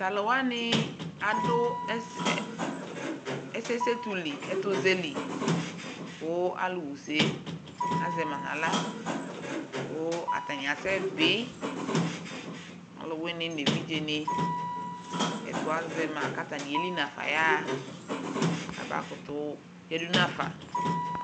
Tʋ alʋ wanɩ adʋ ɛsɛ ɛ ɛsɛsetu li ɛtʋzɛ li kʋ alʋɣa use yɛ azɛ ma nʋ aɣla kʋ tanɩ asɛbɩ Ɔlʋwɩnɩ nʋ evidzenɩ, ɛtʋ azɛ ma kʋ atanɩ eli nafa yaɣa kabakʋtʋ beli nafa